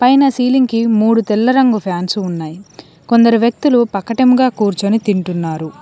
పైన సీలింగ్ కి మూడు తెల్ల రంగు ఫ్యాన్స్ ఉన్నాయి కొందరు వ్యక్తులు పక్కటముగా కూర్చుని తింటున్నారు.